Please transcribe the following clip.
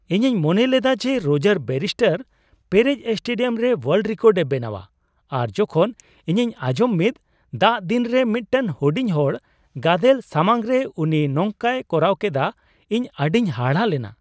ᱤᱧᱤᱧ ᱢᱚᱱᱮ ᱞᱮᱫᱟ ᱡᱮ ᱨᱚᱡᱟᱨ ᱵᱮᱱᱤᱥᱴᱟᱨ ᱯᱮᱨᱮᱡ ᱥᱴᱮᱰᱤᱭᱟᱢ ᱨᱮ ᱳᱣᱟᱞᱰ ᱨᱤᱠᱟᱨᱰ ᱮ ᱵᱮᱱᱟᱣᱟ ᱟᱨ ᱡᱚᱠᱷᱚᱱ ᱤᱧᱤᱧ ᱟᱸᱡᱚᱢ ᱢᱤᱫ ᱫᱟᱜ ᱫᱤᱱ ᱨᱮ ᱢᱤᱫᱴᱮᱱ ᱦᱩᱰᱤᱧ ᱦᱚᱲ ᱜᱟᱫᱮᱞ ᱥᱟᱢᱟᱝᱨᱮ ᱩᱱᱤ ᱱᱚᱝᱠᱟᱭ ᱠᱚᱨᱟᱣ ᱠᱮᱫᱟ ᱤᱧ ᱟᱹᱰᱤᱧ ᱦᱟᱦᱟᱲᱟᱜ ᱞᱮᱱᱟ ᱾